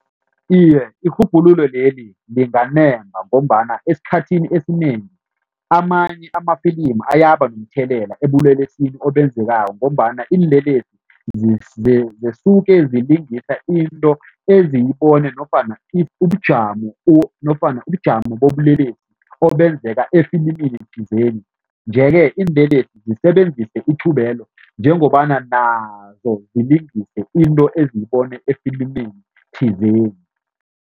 Iye, irhubhululo leli linganemba ngombana esikhathini esinengi amanye amafilimu ayaba nomthelela ebulelesini obenzekako ngombana iinlelesi zisuke zilingisa into eziyibone nofana ubujamo nofana ubujamo bobulelesi obenzeka efilimini thizeni nje-ke iinlelesi zisebenzise ithubelo njengobana nazo zilingise into eziyibone efilimini thizeni.